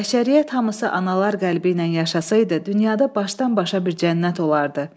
Bəşəriyyət hamısı analar qəlbi ilə yaşasaydı, dünyada başdan-başa bir cənnət olardı.